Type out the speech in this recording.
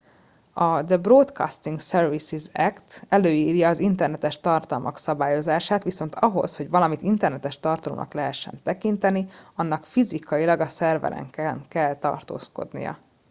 "a "the broadcasting services act" előírja az internetes tartalmak szabályozását viszont ahhoz hogy valamit internetes tartalomnak lehessen tekinteni annak fizikailag a szerveren kell tartózkodnia.